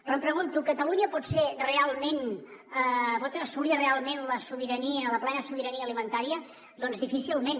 però em pregunto catalunya pot ser realment pot assolir realment la sobirania la plena sobirania alimentària doncs difícilment